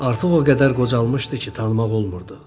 Artıq o qədər qocalmışdı ki, tanımaq olmurdu.